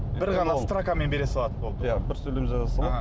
бір ғана строкамен бере салады болды иә бір сөйлем жаза салады аха